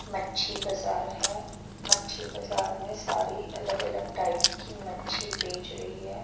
मच्छी बाजार है मच्छी बाजार में सारी अलग अलग टाईप की मच्छी बेच रही है।